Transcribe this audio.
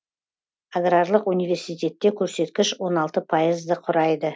аграрлық университетте көрсеткіш он алты пайызды құрайды